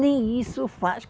Nem isso faz.